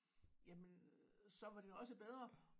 Jamen så var det også bedre